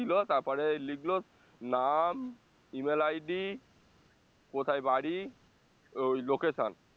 দিলো তারপরেই লিখলো নাম E mail ID কোথায় বাড়ি ওই location